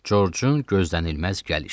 Corcun gözlənilməz gəlişi.